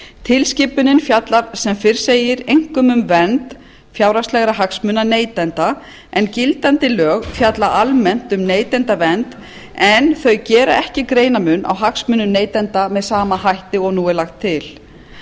tilskipunin fjallar sem fyrr segir einkum um vernd fjárhagslegra hagsmuna neytenda en gildandi lög fjalla almennt um neytendavernd en þau gera ekki greinarmun á hagsmunum neytenda með sama hætti og nú er lagt til